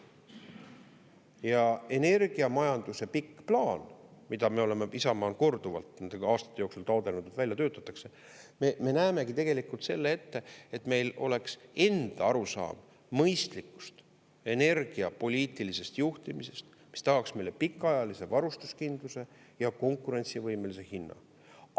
Ja energiamajanduse pikk plaan, mida me oleme, Isamaa on korduvalt nende aastate jooksul taotlenud, et välja töötatakse – me näemegi selle ette, et meil oleks enda arusaam mõistlikust energiapoliitilisest juhtimisest, mis tagaks meile pikaajalise varustuskindluse ja konkurentsivõimelise hinna.